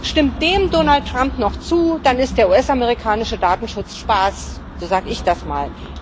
Stimmt Donald Trump dem noch zu, dann ist der US amerikanische Datenschutz Spaß so sage ich das mal.